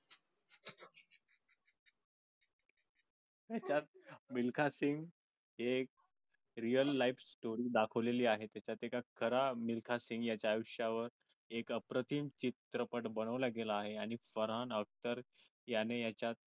नाही त्यात मिल्खा सिंग हे एक एक real life story दाखवलेले आहे त्याच्यात एका खरा मिल्खा सिंग यांच्या आयुष्यावर एक अप्रतिम चित्रपट बनवला गेला आहे. आणि फरहान अख्तर याने याच्या